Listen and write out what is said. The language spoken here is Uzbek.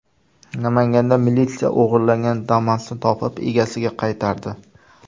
Namanganda militsiya o‘g‘irlangan Damas’ni topib, egasiga qaytardi.